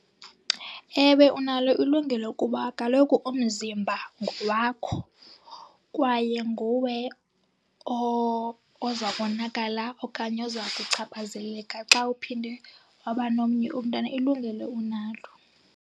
Ewe, unalo ilungelo kuba kaloku umzimba ngowakho kwaye nguwe oza konakala okanye oza kuchaphazeleka xa uphinde waba nomnye umntana. Ilungelo unalo.